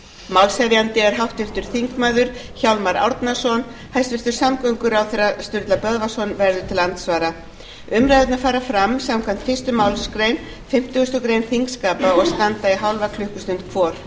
málshefjandi er háttvirtur þingmaður hjálmar árnason hæstvirtur samgönguráðherra sturla böðvarsson verður til andsvara umræðurnar fara fram samkvæmt fyrstu málsgrein fimmtugustu grein þingskapa og standa í hálfa klukkustund hvor